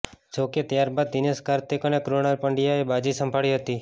જોકે ત્યાર બાદ દિનેશ કાર્તિક અને કૃણાલ પંડ્યાએ બાજી સંભાળી હતી